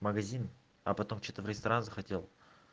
магазин а потом что-то в ресторан захотел